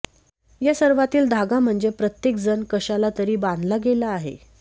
या सर्वांतील धागा म्हणजे प्रत्येकजण कशाला तरी बांधला गेला आहे